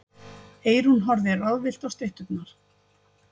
Eyrún horfði ráðvillt á stytturnar.